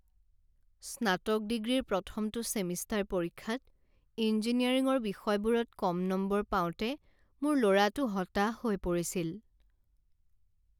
স্নাতক ডিগ্ৰীৰ প্ৰথমটো ছেমিষ্টাৰ পৰীক্ষাত ইঞ্জিনিয়াৰিঙৰ বিষয়বোৰত কম নম্বৰ পাওঁতে মোৰ ল'ৰাটো হতাশ হৈ পৰিছিল।